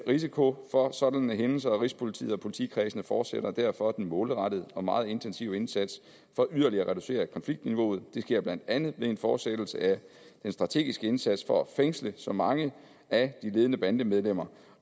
risiko for sådanne hændelser og rigspolitiet og politikredsene fortsætter derfor den målrettede og meget intensive indsats for yderligere at reducere konfliktniveauet det sker blandt andet ved en fortsættelse af den strategiske indsats for at fængsle så mange af de ledende bandemedlemmer